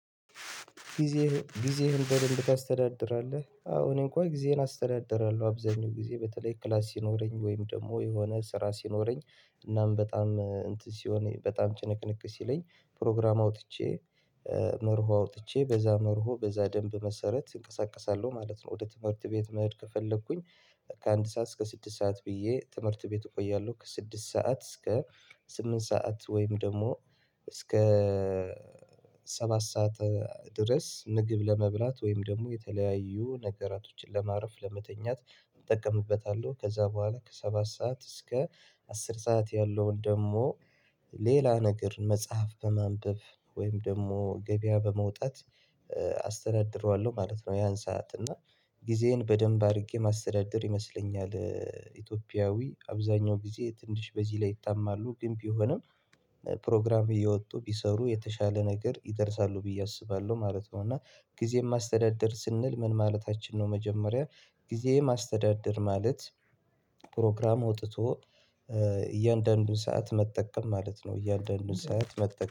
ጊዜህን ጊዜህን በደንብ ታስተዳድራለህ? አዎ እኔን እንኳን ጊዜህን አስተዳድራለሁ አብዛኛው ጊዜ በተለይ ክላስ ሲኖረኝ ወይም ደግሞ የሆነ ስራ ሲኖረኝ እናም በጣም እንትን ሲሆን በጣም ጭንቅንቅ ሲለኝ ፕሮግራም አውጥቼ መርሆ አውጥቼ በዛ መርሆ በዛ ደንብ መሰረት እንቀሳቀሳለሁ ማለት ነው። ወደ ትምህርት ቤት መሄድ ከፈለኩኝ። ከአንድ ሰዓት እስከ ስድስት ሰዓት ብዬ ትምህርት ቤት እቆያለሁ። ከስድስት ሰዓት እስከ ስምንት ሰዓት ወይም ደግሞ እስከ ሰባት ሰዓት ድረስ ምግብ ለመብላት ወይም ደግሞ የተለያዩ ነገራቶችን ለማረፍ ለመተኛት እጠቀምበታለሁ። ከዛ በኋላ ከሰባት ሰዓት እስከ አስር ሰዓት ያለውን ደግሞ ሌላ ነገር መጽሐፍ ከማንበብ ወይም ደግሞ ገበያ በመውጣት አስተዳድረዋለሁ ማለት ነው። ያን ሰዓት እና ጊዜዬን በደንብ አድርጌ ማስተዳደር ይመስለኛል። ኢትዮጵያዊ አብዛኛው ጊዜ ትንሽ በዚህ ላይ ይጣማሉ ግን ቢሆንም ፕሮግራም እየወጡ ቢሰሩ የተሻለ ነገር ይደርሳሉ ብዬ አስባለሁ ማለት ነው። እና ጊዜ ማስተዳደር ስንል ምን ማለታችን ነው? መጀመሪያ ጊዜ ማስተዳደር ማለት አውጥቶ እያንዳንዱን ሰዓት መጠቀም ማለት ነው እያንዳንዱን ሰዓት መጠቀም